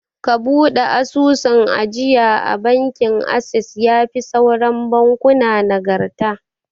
Ka buɗe asusun ajiya a bankin assess, yafi sauran bankuna nagarta